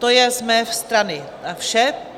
To je z mé strany vše.